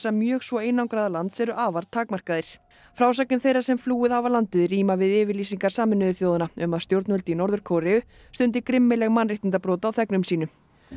mjög svo einangraða lands eru afar takmarkaðir frásagnir þeirra sem flúið hafa landið ríma við yfirlýsingar Sameinuðu þjóðanna um að stjórnvöld í Norður Kóreu stundi grimmileg mannréttindabrot á þegnum sínum